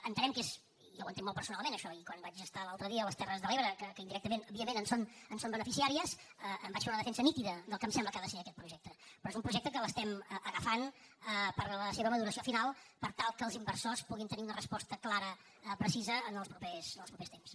entenem que és jo ho entenc molt personalment això i quan vaig estar l’altre dia a les terres de l’ebre que indirectament òbviament en són beneficiàries en vaig fer una defensa nítida del que em sembla que ha de ser aquest projecte però un projecte que l’agafem per a la seva maduració final per tal que els inversors puguin tenir una resposta clara precisa en els propers temps